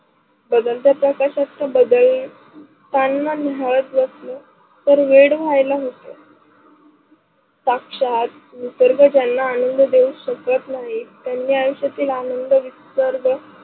बदलत्या नकाशाच बदलताना निहाळतांना बसन तर वेड व्हायेला शाक्षात निसर्ग ज्यांना आनंद देऊ शकत नाही त्यांना आयुष्यातील आनंद निसर्ग